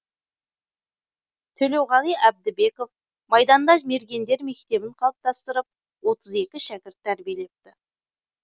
төлеуғали әбдібеков майданда мергендер мектебін қалыптастырып отыз екі шәкірт тәрбиелепті